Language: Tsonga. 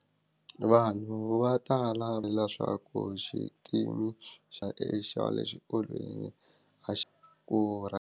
Vanhu va tala leswaku xikimi xa le xa le exikolweni a xi .